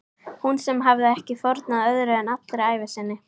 Hún sem hafði ekki fórnað öðru en allri ævi sinni.